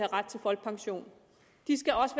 ret til folkepension de skal også